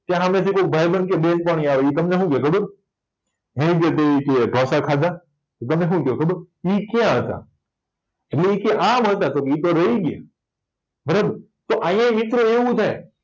ત્યાં સામેથી કોક ભાઈબંધ કેય બેનપણી આવી ઇ તમને શું કેય ખબર ઢોસા ખાધા તમે શું કયો ખબર ઇ ક્યાં હતા આમ હતા તો કે ઈતો બરાબર તો આયા મિત્રો એવું થાય